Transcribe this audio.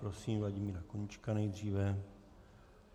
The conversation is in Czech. Prosím Vladimíra Koníčka nejdříve.